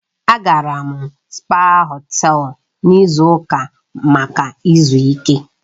Agara m spaa họtel n'izu ụka maka izu ike.